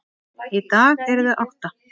Í dag eru þau átta.